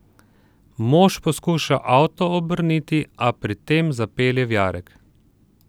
Mož poskuša avto obrniti, a pri tem zapelje v jarek.